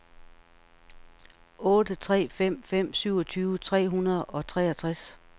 otte tre fem fem syvogtyve tre hundrede og treogtres